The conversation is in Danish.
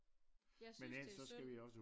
Jeg synes det er synd